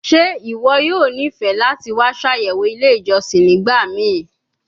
Ṣe iwọ yoo nifẹ lati wa ṣayẹwo ile ijọsin nigbamii